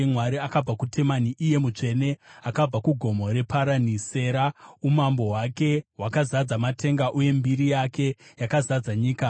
Mwari akabva kuTemani, iye Mutsvene akabva kuGomo reParani. Sera Umambo hwake hwakazadza matenga uye mbiri yake yakazadza nyika.